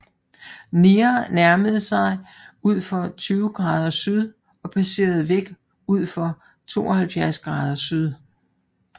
Near nærmede sig udfor 20 grader syd og passerede væk udfor 72 grader syd